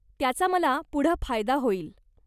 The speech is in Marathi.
त्याचा मला पुढं फायदा होईल.